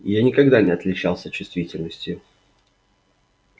я никогда не отличался чувствительностью